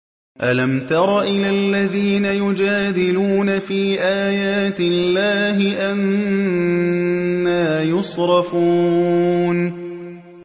أَلَمْ تَرَ إِلَى الَّذِينَ يُجَادِلُونَ فِي آيَاتِ اللَّهِ أَنَّىٰ يُصْرَفُونَ